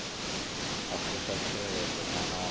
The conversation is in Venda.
u fusha tshiteṅwa itshi naa